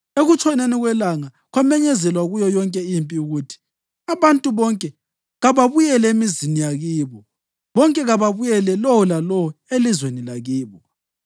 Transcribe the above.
Ekutshoneni kwelanga kwamenyezelwa kuyo yonke impi ukuthi: “Abantu bonke kababuyele emizini yakibo, bonke kababuyele lowo lalowo elizweni lakibo!”